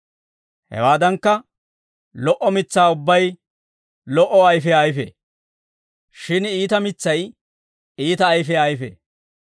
Hewaadankka, lo"o mitsaa ubbay lo"o ayfiyaa ayfee; shin iita mitsay iita ayfiyaa ayfee.